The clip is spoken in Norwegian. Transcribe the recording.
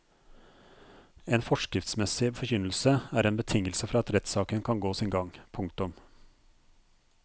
En forskriftsmessig forkynnelse er en betingelse for at rettssaken kan gå sin gang. punktum